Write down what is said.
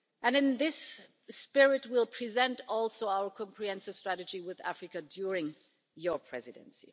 In this spirit, we will present our comprehensive strategy with Africa during your Presidency.